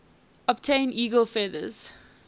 obtain eagle feathers